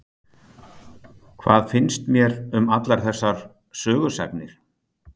Hvað finnst mér um allar þessar sögusagnir?